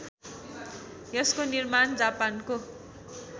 यसको निर्माण जापानको